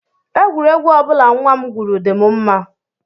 Egwuregwu ọ bụla nnwa m gwuru dị m mma